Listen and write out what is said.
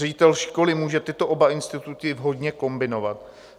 Ředitel školy může oba tyto instituty vhodně kombinovat.